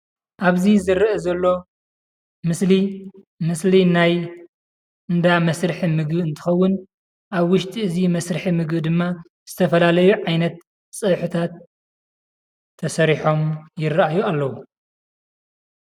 ኣብዚ ዝርአ ዘሎ ምስሊ ምስሊ ናይ እንዳ መስርሒ ምግቢ እንትኸውን ኣብ ውሽጢ እዚ መስርሒ ምግቢ ድማ ዝተፈላለዩ ዓይነት ፀብሕታት ተሰሪሖም ይረአዩ ኣለዉ፡፡